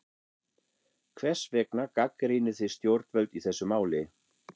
Hvers vegna gagnrýnið þið stjórnvöld í þessu máli?